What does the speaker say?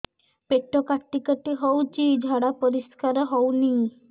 ପେଟ କାଟି କାଟି ହଉଚି ଝାଡା ପରିସ୍କାର ହଉନି